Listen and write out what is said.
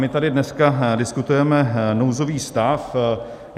My tady dneska diskutujeme nouzový stav.